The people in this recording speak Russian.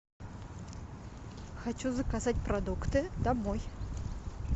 хочу заказать продукты домой